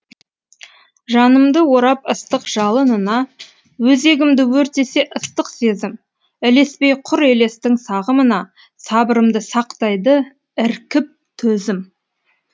жанымды орап ыстық жалынына өзегімді өртесе ыстық сезім ілеспей құр елестің сағымына сабырымды сақтайды іркіп төзім